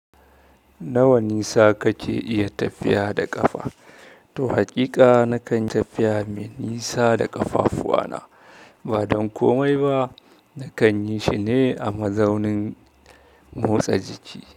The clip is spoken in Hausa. Nawa nisa kake iya tafiya da ƙafa? Toh haƙiƙa na kan tafiya mai nisa da ƙafafuwana, ba don komai ba. Na kan yishi ne a mazaunin motsa jiki.